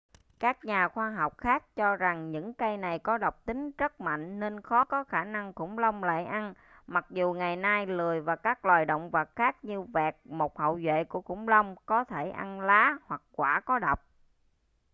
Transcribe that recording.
các nhà khoa học khác cho rằng những cây này có độc tính rất mạnh nên khó có khả năng khủng long lại ăn mặc dù ngày nay lười và các loài động vật khác như vẹt một hậu duệ của khủng long có thể ăn lá hoặc quả có độc